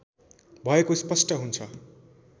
भएको स्पष्ट हुन्छ